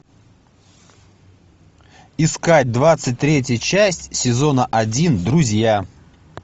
искать двадцать третья часть сезона один друзья